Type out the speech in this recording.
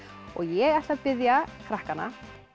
og ég ætla að biðja krakkana